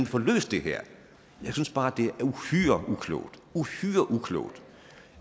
får løst det her jeg synes bare at det er uhyre uklogt uhyre uklogt